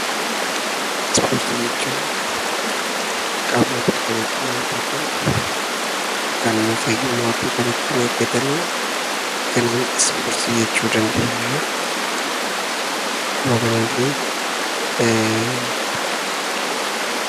Ispoortii jechuun qaama ofii kan ittiin jabeeffatan yookaan immoo fayyummaa ofii kan ittiin eeggatan isa kanaan Ispoortii jechuu dandeenya. Akkuma kanallee...